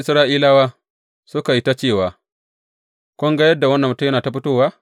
Isra’ilawa suka yi ta cewa, Kun ga yadda wannan mutum yana ta fitowa?